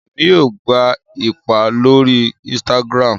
Èmi yóò gbà ipá lórí instagram